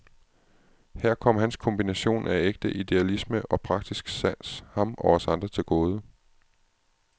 Her kom hans kombination af ægte idealisme og praktisk sans ham og os andre til gode.